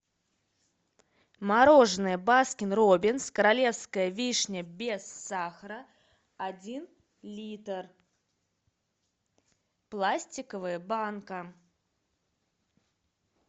мороженое баскин робинс королевская вишня без сахара один литр пластиковая банка